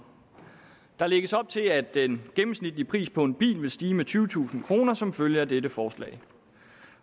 der lægges op til at den gennemsnitlige pris på en bil vil stige med tyvetusind kroner som følge af dette forslag